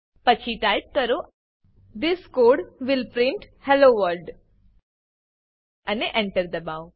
પછી ટાઈપ કરો this code will print hello world અને Enter દબાઓ